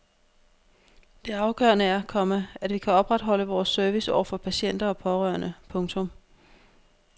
Det afgørende er, komma at vi kan opretholde vores service over for patienter og pårørende. punktum